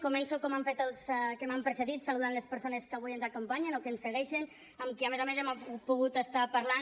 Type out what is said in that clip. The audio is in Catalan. començo com han fet els que m’han precedit saludant les persones que avui ens acompanyen o que ens segueixen amb qui a més a més hem pogut estar parlant